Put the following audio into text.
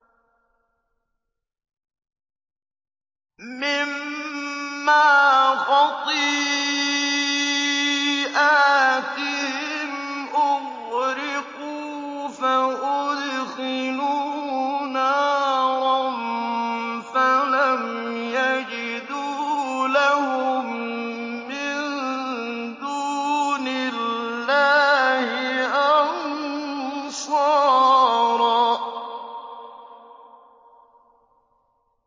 مِّمَّا خَطِيئَاتِهِمْ أُغْرِقُوا فَأُدْخِلُوا نَارًا فَلَمْ يَجِدُوا لَهُم مِّن دُونِ اللَّهِ أَنصَارًا